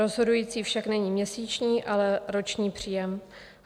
Rozhodující však není měsíční, ale roční příjem.